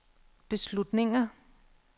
beslutninger